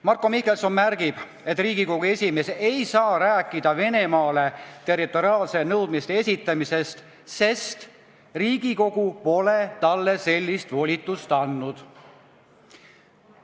Marko Mihkelson märgib, et Riigikogu esimees ei saa rääkida Venemaale territoriaalsete nõudmiste esitamisest, sest Riigikogu pole talle sellist volitust andnud.